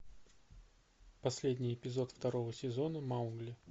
последний эпизод второго сезона маугли